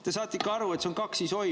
Te saate ikka aru, et see on kaksisoim?